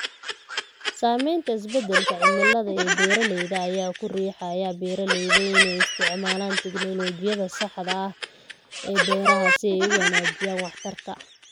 Saamaynta isbedelka cimilada ee beeralayda ayaa ku riixaya beeralayda inay isticmaalaan tignoolajiyada saxda ah ee beeraha si ay u wanaajiyaan waxtarka.